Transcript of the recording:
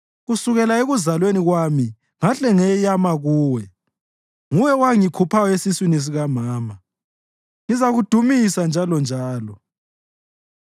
Kusukela ekuzalweni kwami ngahle ngeyama kuwe; nguwe owangikhuphayo esiswini sikamama. Ngizakudumisa njalonjalo.